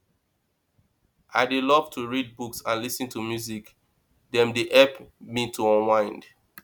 i dey love to read books and lis ten to music dem dey help me to unwind